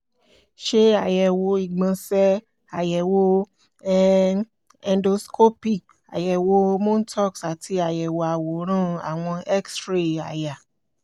ṣe àyẹ̀wò ìgbọ̀nsẹ̀ ayẹwo um endoscopy àyẹ̀wò montaux àti àyẹ̀wò àwòrán àwọ̀n x-ray àyà